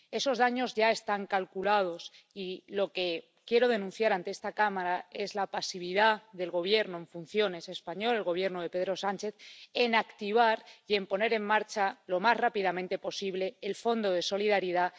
Esos daños ya están calculados, y lo que quiero denunciar ante esta Cámara es la pasividad del Gobierno en funciones español —el Gobierno de Pedro Sánchez— en activar y en poner en marcha lo más rápidamente posible el Fondo de Solidaridad